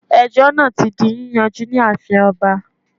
Ejó náà ti di yíyanjú ní ààfin oba